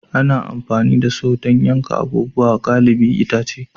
Ana amfani da Saw don yankan abubuwa galibi itace